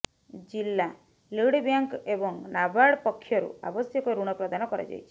ଜିଲା ଲିଡ଼ବ୍ୟାଙ୍କ ଏବଂ ନାର୍ବାଡ଼ ପକ୍ଷରୁ ଆବଶ୍ୟକ ଋଣ ପ୍ରଦାନ କରାଯାଇଛି